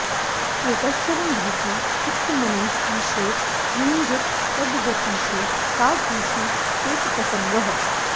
एकश्चरन् रहसि चित्तमनन्त ईशे युञ्जीत तद्व्रतिषु साधुषु चेत्प्रसङ्गः